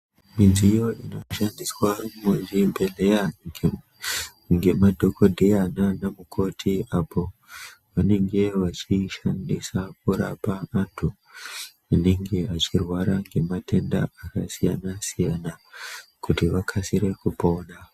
Midziyo inoshandiswa muzvibhedhleya ngemadhogodheya nana mukoti apo vanenge vachishandisa kurapa antu. Anenge echirwara ngematenda akasiyana-siyana, kuti vakasire kupona.